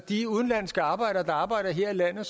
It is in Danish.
de udenlandske arbejdere der arbejder her i landet